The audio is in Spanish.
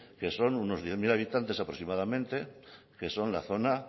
que son unos diez mil habitantes aproximadamente que son la zona